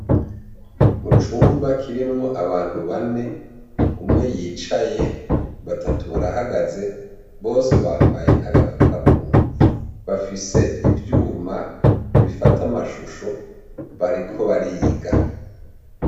Mucumba kirimwo abantu bane umwe yicaye batatu barahagaze bose bambaye agafukamunwa bafise ivyuma bifata amashushe bariko bariga